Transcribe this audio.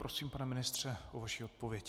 Prosím, pane ministře, o vaši odpověď.